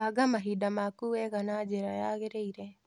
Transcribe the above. Banga mahinda maku wega na njĩra yagĩrĩire.